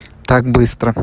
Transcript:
так быстро